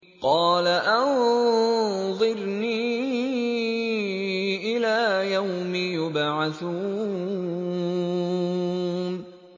قَالَ أَنظِرْنِي إِلَىٰ يَوْمِ يُبْعَثُونَ